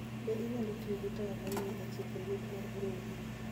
Be inyalo tiyo gi taya mar lie e chiko liet mar brooder?